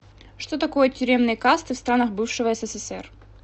что такое тюремные касты в странах бывшего ссср